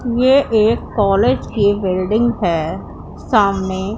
यह एक कॉलेज की बिल्डिंग है सामने--